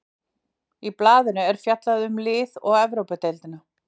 Í blaðinu er fjallið um liðið og Evrópudeildina.